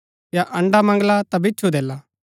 या अण्ड़ा मंगला ता बिच्छु देला